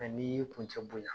n'i y'i kuncɛ bonya